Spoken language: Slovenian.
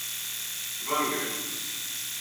Ven grem.